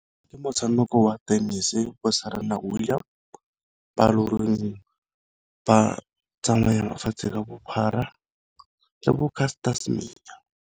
Ke motshameko wa tennis-e bo Serena William ba loreng ba tsamaya lefatshe ka bophara le bo Castor Semenya.